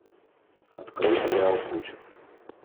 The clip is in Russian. открой сериал путь